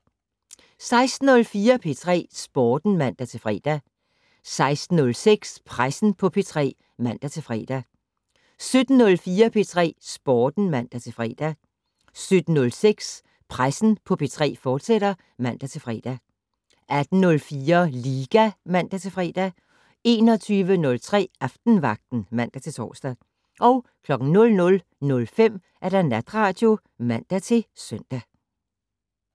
16:04: P3 Sporten (man-fre) 16:06: Pressen på P3 (man-fre) 17:04: P3 Sporten (man-fre) 17:06: Pressen på P3, fortsat (man-fre) 18:04: Liga (man-fre) 21:03: Aftenvagten (man-tor) 00:05: Natradio (man-søn)